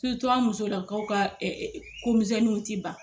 an musolakaw ka ko misɛnninw tɛ ban.